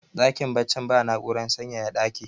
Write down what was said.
dakin baccin ba na'urar sanyaya dakin